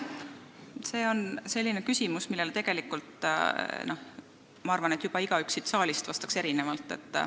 See on selline küsimus, millele igaüks siit saalist vastaks ilmselt erinevalt.